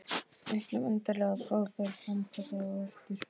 Ætlum endilega að fá þær framkallaðar á eftir.